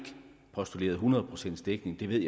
postuleret hundrede procents dækning det ved